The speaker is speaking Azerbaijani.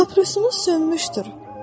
Papirosunuz sönmüşdür.